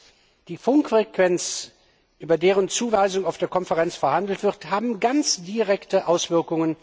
Kurz Die Funkfrequenzen, über deren Zuweisung auf der Konferenz verhandelt wird, haben ganz direkte Auswirkungen